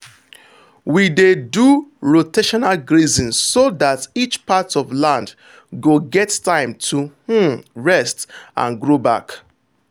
we dey do rotational grazing so that each part of land go get time to um rest and grow back.